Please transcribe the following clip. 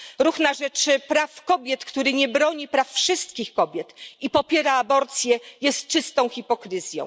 Ruch na rzecz praw kobiet, który nie broni praw wszystkich kobiet i popiera aborcję, jest czystą hipokryzją.